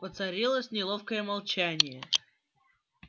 воцарилось неловкое молчание